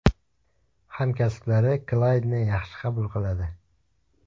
Hamkasblari Klaydni yaxshi qabul qiladi.